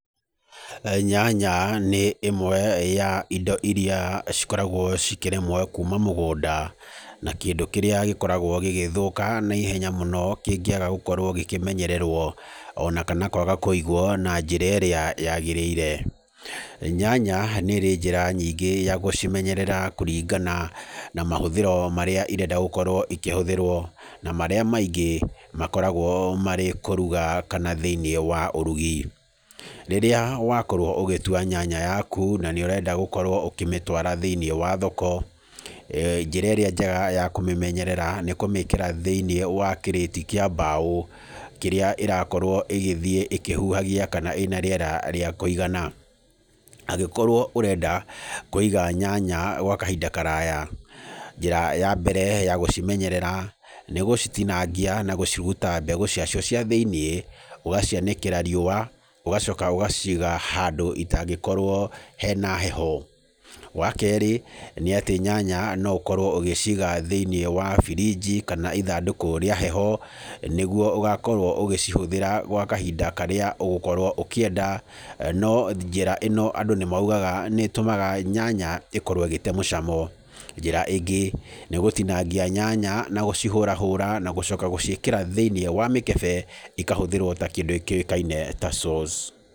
Nyanya nĩ ĩmwe wa indo imwe irĩa cikoragwo cikĩrĩmwo kuuma mũgũnda na kĩndũ kĩrĩa gĩkoragwo gĩgĩthũka naihenya mũno kĩngĩaga gũkorwo gĩkĩmenyererwo. Ona kana kwaga kũigwo na njĩra ĩrĩa yaagĩrĩire. Nyanya nĩ ĩrĩ njĩra nyingĩ ya gũcimenyerera kũringana na mahũthĩro marĩa irenda gũkorwo ikĩhũthĩrwo na marĩa maingĩ makoragwo marĩ kũruga kana thĩinĩ wa ũrugi. Rĩrĩa wakorwo ũgĩtua nyanya yaku na nĩ ũrenda gũkorwo ũkĩmĩtwara thĩinĩ wa thoko, njĩra ĩrĩa njega ya kũmĩmenyerera, nĩ kũmĩkĩra thĩinĩ wa kĩrĩti kĩa mbaũ kĩrĩa ĩrakorwo ĩgĩthiĩ ĩkĩhuhagia na ĩna rĩera rĩa kũigana. Angĩkorwo ũrenda kũiga nyanya gwa kahinda karaya, njĩra ya mbere ya gũcimenyerera nĩ gũcitinangia na gũciruta mbegũ ciake cia thĩinĩ. Ũgacianĩkĩra riũa ũgacoka ũgaciiga handũ itangĩkorwo hena heho. Wa kerĩ nĩ atĩ nyanya no ũkorwo ũgĩciga thĩinĩ wa fridge kana ithandũkũ rĩa heho. Nĩguo ũgakorwo ũgĩcihũthĩra gwa kahinda karĩa ũgũkorwo ũkĩenda. No njĩra ĩno andũ nĩ moigaga nĩ ĩtũmaga nyanya ĩkorwo ĩgĩte mũcamo. Ũndũ ũngĩ nĩ gũtinangia nyanya na gũcihũrahũra na gũciĩkĩra thĩinĩ wa mĩkebe ikahũthĩrwo ta kĩndũ kĩũĩkaine ta sauce.